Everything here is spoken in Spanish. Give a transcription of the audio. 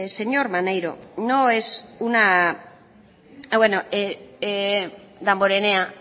señor damborenea